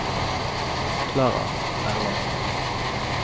Klara Erlandsen